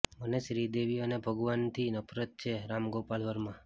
મને શ્રીદેવી અને ભગવાનથી નફરત છેઃ રામ ગોપાલ વર્મા